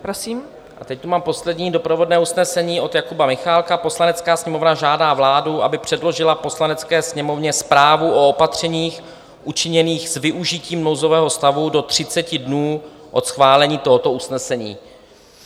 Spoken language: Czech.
A teď tu mám poslední doprovodné usnesení od Jakuba Michálka: "Poslanecká sněmovna žádá vládu, aby předložila Poslanecké sněmovně zprávu o opatřeních učiněných s využitím nouzového stavu do 30 dnů od schválení tohoto usnesení."